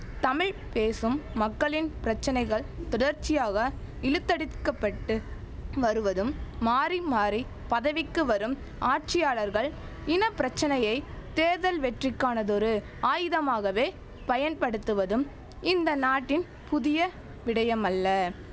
தமிழ் பேசும் மக்களின் பிரச்சனைகள் தொடர்ச்சியாக இழுத்தடித்கப்பட்டு வருவதும் மாறி மாறி பதவிக்கு வரும் ஆட்சியாளர்கள் இன பிரச்சனையை தேர்தல் வெற்றிக்கானதொரு ஆயுதமாகவே பயன்படுத்துவதும் இந்த நாட்டின் புதிய விடயமல்ல